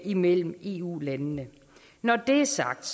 imellem eu landene når det er sagt